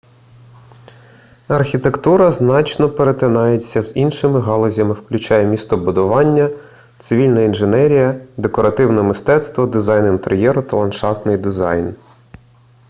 архітектура значно перетинається з іншими галузями включаючи містобудування цивільна інженерія декоративне мистецтво дизайн інтер'єру та ландшафтний дизайн